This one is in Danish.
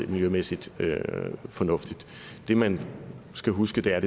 og miljømæssigt fornuftigt det man skal huske er